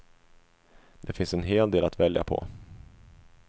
Det finns en hel del att välja på.